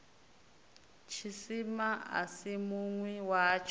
tshisima a si munwi watsho